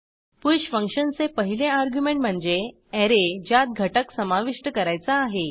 push फंक्शनचे पहिले argument म्हणजे ऍरे ज्यात घटक समाविष्ट करायचा आहे